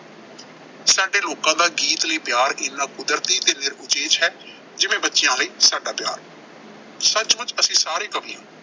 ਸਾਡੇ ਲੋਕਾਂ ਦਾ ਗੀਤ ਲਈ ਪਿਆਰ ਇਨਾ ਕੁਦਰਤੀ ਤੇ ਨਿਰਉਚੇਚ ਹੈ, ਜਿਵੇਂ ਬੱਚਿਆਂ ਲਈ ਸਾਡਾ ਪਿਆਰ। ਸੱਚਮੁੱਚ ਅਸੀਂ ਸਾਰੇ ਕਵੀ ਹਾਂ।